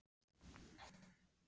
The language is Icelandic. En hver yrðu áhrifin af slíku?